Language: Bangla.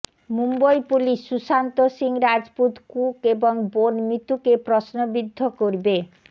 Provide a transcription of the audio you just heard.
মুম্বই পুলিশ সুশান্ত সিং রাজপুত কুক এবং বোন মিতুকে প্রশ্নবিদ্ধ করবে